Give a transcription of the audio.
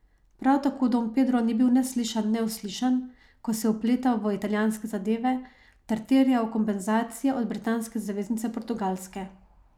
Prav tako don Pedro ni bil ne slišan ne uslišan, ko se je vpletal v italijanske zadeve ter terjal kompenzacije od britanske zaveznice Portugalske.